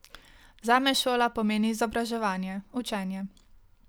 Zame šola pomeni izobraževanje, učenje.